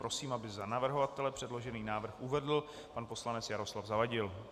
Prosím, aby za navrhovatele předložený návrh uvedl pan poslanec Jaroslav Zavadil.